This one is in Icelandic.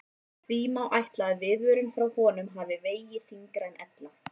Því má ætla að viðvörun frá honum hafi vegið þyngra en ella.